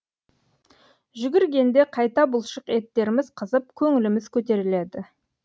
жүгіргенде қайта бұлшық еттеріміз қызып көңіліміз көтеріледі